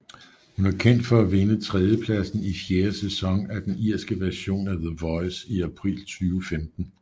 Hun er kendt for at vinde tredjepladsen i fjerde sæson af den irske version af The Voice i april 2015